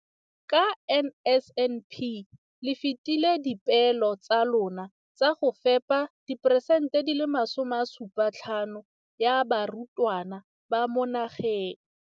Ka NSNP le fetile dipeelo tsa lona tsa go fepa masome a supa le botlhano a diperesente ya barutwana ba mo nageng.